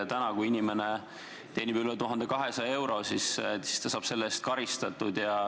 Täna, kui inimene teenib üle 1200 euro, siis ta saab selle eest karistatud.